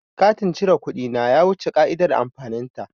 Katin cire kuɗi na ya wuce ƙa'idar amfanin ta.